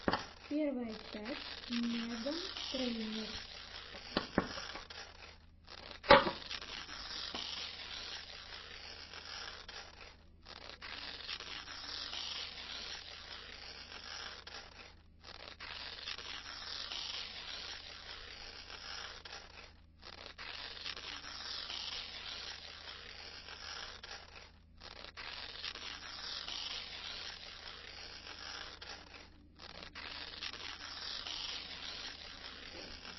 первая часть меган трейнер